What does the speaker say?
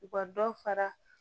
U ka dɔ fara